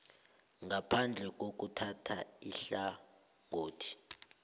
ngaphandle kokuthatha ihlangothi